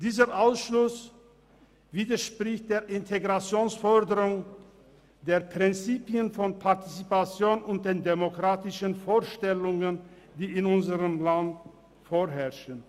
Dieser Ausschluss widerspricht der Integrationsforderung, den Prinzipien der Partizipation und den demokratischen Vorstellungen, die in unserem Land vorherrschen.